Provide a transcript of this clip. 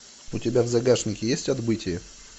у тебя в загашнике есть отбытие